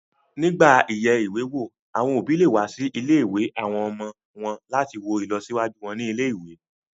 Nígbà yíyẹ ìwé wò, àwọn òbí lè wá sí ilé-ìwé àwọn ọmọ wọn láti wo ìlọsíwájú wọn ní ilé-ìwé